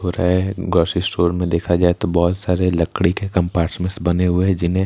grocery store में देखा जाए तो बहुत सारे लकड़ी के कंपार्टमेंट्स बने हुए जिन्हें --